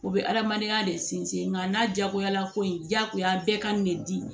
U bɛ adamadenya de sinsin ŋa n'a diyagoyala ko in jagoya bɛɛ ka nin ne di